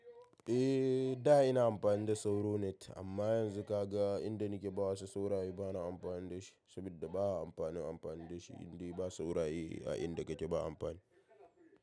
Eh, da ina amfani da Sauronet amma yanzu ka ga inda nike bawa su sauraye bana amfani da shi saboda baya amfani amfani da shi inda ba sauraye a inda kake ba amfani.